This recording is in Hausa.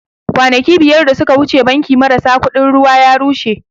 Kwanaki biyar da suka wuce banki marasa kuɗin ruwa ya rushe